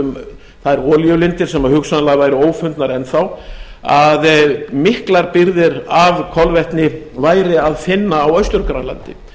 um þær olíulindir sem hugsanlega væru ófundnar enn þá að miklar birgðir af kolvetni væri að finna á austur grænlandi